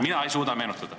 Mina ei suuda meenutada.